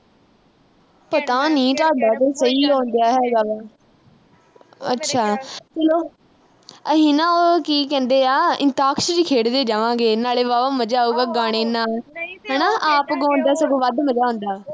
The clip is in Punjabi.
ਪਤਾ ਨੀਂ ਤੁਹਾਡਾ ਤਾਂ ਸਹੀ ਆਉਣ ਡਿਆ ਹੈਗਾ ਵਾ। ਅੱਛਾ ਅਹ ਅਸੀਂ ਨਾ, ਉਹ ਕੀ ਕਹਿੰਦੇ ਆ, ਅੰਤਾਕਸ਼ਿਰੀ ਖੇਡਦੇ ਜਾਵਾਂਗੇ, ਨਾਲੇ ਵਾਵਾ ਮਜ਼ਾ ਆਊਗਾ ਗਾਉਣੇ ਨਾਲ, ਹਨਾ ਆਪ ਗਾਉਣ ਦਾ ਸਗੋਂ ਵੱਧ ਮਜ਼ਾ ਆਉਂਦਾ।